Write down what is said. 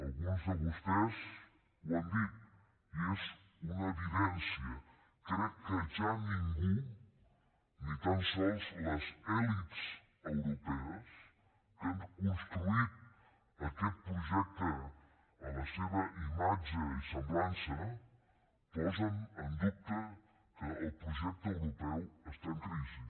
alguns de vostès ho han dit i és una evidència crec que ja ningú ni tan sols les elits europees que han construït aquest projecte a la seva imatge i semblança posen en dubte que el projecte europeu està en crisi